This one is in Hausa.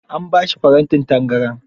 An ba shi farantin tangaran.